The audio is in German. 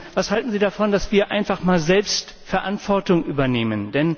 Was halten Sie davon, dass wir einfach einmal selbst Verantwortung übernehmen?